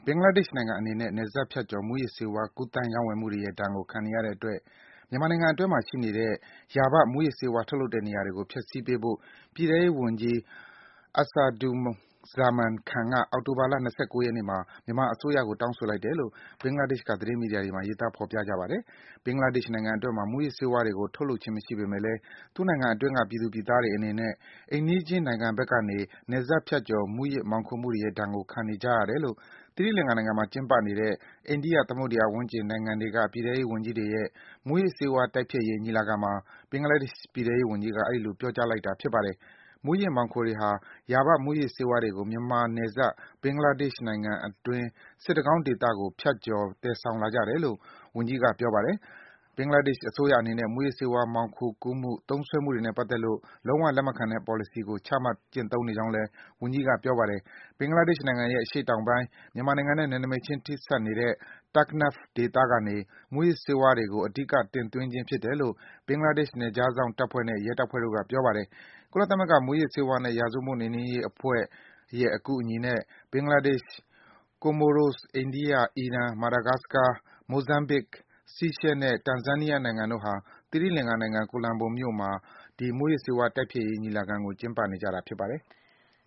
ဘင်္ဂလားဒေ့ရှ်နိုင်ငံအနေနဲ့ နယ်စပ်ဖြတ်ကျော် မူးယစ်ဆေးဝါး ကူးသန်း ရောင်းဝယ် မှုတွေရဲ့ ဒဏ်ကို ခံနေရတဲ့အတွက် မြန်မာနိုင်ငံ အတွင်းမှာ ရှိနေတဲ့ ယာဘမူး ယစ်ဆေးဝါး ထုတ်လုပ်တဲ့ နေရာတွေကို ဖျက်ဆီးပေးဖို့ ပြည်ထဲရေးဝန်ကြီး Asaduzzaman Khan က အောက်တိုဘာလ ၂၉ ရက်နေ့မှာ မြန်မာအစိုး ရကို တောင်းဆိုလိုက်တယ်လို့ ဘင်္ဂလားဒေ့ရှ်က သတင်းမီဒီယာ တွေ မှာ ရေးသား ဖော်ပြကြပါတယ်။ ဘင်္ဂလားဒေ့ရှ်နိုင်ငံအတွင်းမှာ မူးယစ်ဆေးဝါးတွေကို ထုတ်လုပ်ခြင်း မရှိပေမယ့် လည်း သူ့နိုင်ငံအတွင်းက ပြည်သူ ပြည်သားတွေအနေနဲ့ အိမ်နီး ချင်း နိုင်ငံဘက် ကနေ နယ်စပ်ဖြတ်ကျော် မူးယစ် မောင်ခိုမှုတွေရဲ့ဒဏ်ကို ခံနေကြရတယ်လို့ သီရိလင်္ကာနိုင်ငံမှာ ကျင်းပနေတဲ့ အိန္ဒိယသမုဒ္ဒယာ ဝန်းကျင် နိုင်ငံတွေ က ပြည် ထဲရေးဝန်ကြီးတွေရဲ့ မူးယစ်ဆေးဝါး တိုက်ဖျက်ရေး ညီလာခံမှာ ဘင်္ဂလားဒေ့ရှ် ပြည် ထဲရေးဝန်ကြီးက အဲဒီလို ပြောကြား လိုက်တာ ဖြစ်ပါတယ်။ မူးယစ် မှောင်ခိုတွေဟာ ယာဘ မူးယစ်ဆေးဝါးတွေကို မြန်မာနယ်စပ် ဘင်္ဂလားဒေ့ရှ်နိုင်ငံအတွင်း စစ်တကောင်းဒေသကို ဖြတ်ကျော် သယ်ဆောင်လာ ကြတယ်လို့ ဝန်ကြီးက ပြောပါတယ်။ ဘင်္ဂလားဒေ့ရှ်အစိုးရအနေနဲ့ မူးယစ်ဆေးဝါး မှောင်ခိုကူးမှု၊ သုံးစွဲမှုတွေနဲ့ပတ်သက်လို့ လုံး၀ လက်မခံ တဲ့ ပေါ်လစီကို ချမှတ်ကျင့်သုံးနေကြောင်းလည်း ဝန်ကြီးက ပြောပါတယ်။ ဘင်္ဂလားဒေ့ရှ်နိုင်ငံရဲ့ အရှေ့တောင်ပိုင်း မြန်မာနိုင်ငံနဲ့ နယ်နိမိတ်ချင်း ထိစပ်နေတဲ့ Taknaf ဒေသကနေ မူးယစ်ဆေးဝါးတွေကို အဓိက တင်သွင်းခြင်းဖြစ်တယ်လို့ ဘင်္ဂလားဒေ့ရှ် နယ်ခြားစောင့်တပ်ဖွဲ့နဲ့ ရဲတပ်ဖွဲ့တို့က ပြောပါတယ်။ ကုလသမဂ္ဂ မူးယစ်ဆေးဝါးနဲ့ ရာဇဝတ်မှုနှိမ်နင်းရေးအဖွဲ့ရဲ့ အကူအညီနဲ့ ဘင်္ဂလားဒေ့ရှ်၊ Comoros ၊ အိန္ဒိယ ၊ အီရန်၊ Madagascar ၊ မိုဇမ်ဘစ်၊ Seashells နဲ့ တန်ဇန်းနီးယားနိုင်ငံတို့ဟာ သီရိလင်္ကာနိုင်ငံ၊ ကိုလံဘိုမြို့မှာ ဒီ မူးယစ်ဆေးဝါး တိုက်ဖျက်ရေး ညီလာခံကို ကျင်းပနေတာ ဖြစ်ပါတယ်။